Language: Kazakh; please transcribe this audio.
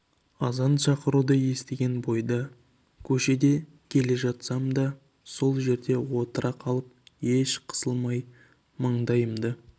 азан шақыруды естіген бойда көшеде келе жатсам да сол жерде отыра қалып еш қысылмай маңдайымды